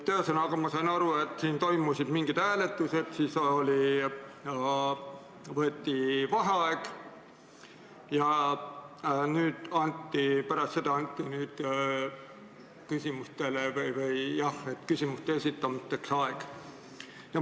Ühesõnaga, ma saan aru, et siin toimusid mingisugused hääletused, siis võeti vaheaeg ja pärast seda anti aeg küsimuste esitamiseks.